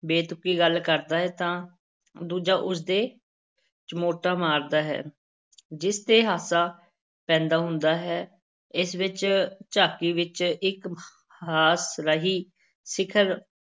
ਬੇਤੁਕੀ ਗੱਲ ਕਰਦਾ ਹੈ ਤਾਂ ਦੂਜਾ ਉਸ ਦੇ ਚਮੋਟਾ ਮਾਰਦਾ ਹੈ ਜਿਸ ਤੇ ਹਾਸਾ ਪੈਦਾ ਹੁੰਦਾ ਹੈ, ਇਸ ਵਿੱਚ ਝਾਕੀ ਵਿੱਚ ਇੱਕ ਹਾਸ-ਰਸੀ ਸਿਖਰ